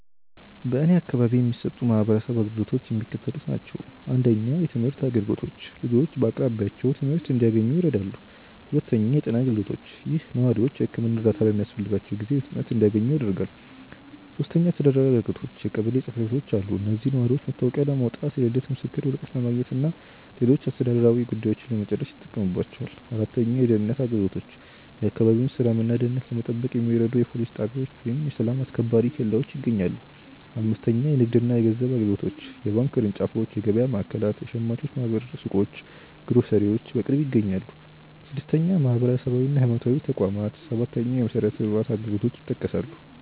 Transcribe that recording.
በእኔ አካባቢ የሚሰጡ የማህበረሰብ አገልግሎቶች የሚከተሉት ናቸው:- 1. የትምህርት አገልግሎቶች፦ ልጆች በአቅራቢያቸው ትምህርት እንዲያንኙ ይረዳሉ። 2. የጤና አገልግሎቶች፦ ይህ ነዋሪዎች የሕክምና እርዳታ በሚያስፈልጋቸው ጊዜ በፍጥነት እንዲያገኙ ያደርጋል። 3. አስተዳደራዊ አገልግሎቶች፦ የቀበሌ ጽሕፈት ቤቶች አሉ። እዚህም ነዋሪዎች መታወቂያ ለማውጣት፣ የልደት ምስክር ወረቀት ለማግኘትና ሌሎች አስተዳደራዊ ጉዳዮችን ለመጨረስ ይጠቀሙባቸዋል። 4. የደህንነት አገልግሎቶች፦ የአካባቢውን ሰላምና ደህንነት ለመጠበቅ የሚረዱ የፖሊስ ጣቢያዎች ወይም የሰላም አስከባሪ ኬላዎች ይገኛሉ። 5. የንግድና የገንዘብ አገልግሎቶች፦ የባንክ ቅርንጫፎች፣ የገበያ ማዕከላት፣ የሸማቾች ማኅበር ሱቆችና ግሮሰሪዎች በቅርብ ይገኛሉ። 6. ማህበራዊና ሃይማኖታዊ ተቋማት፦ 7. የመሠረተ ልማት አገልግሎቶች